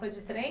Foi de trem?